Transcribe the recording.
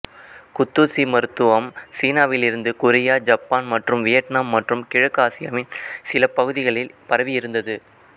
குத்தூசி மருத்துவம் சீனாவில் இருந்து கொரியா ஜப்பான் மற்றும் வியட்னாம் மற்றும் கிழக்கு ஆசியாவின் சில பகுதிகளில் பரவியிருந்தது